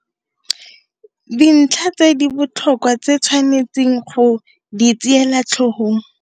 Dintlha tse di botlhokwa tse o tshwanetseng go di tseela tlhogong